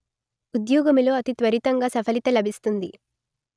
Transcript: ఉద్యోగములో అతిత్వరితంగా సఫలిత లభిస్తుంది